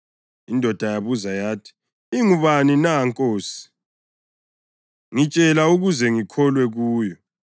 Indoda yabuza yathi, “Ingubani na, nkosi? Ngitshela ukuze ngikholwe kuyo.”